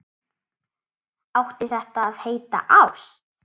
Átti þetta að heita ást?